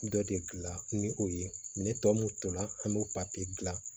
Dɔ de gilan ni o ye ne tɔ mun tora an be o papiye gilan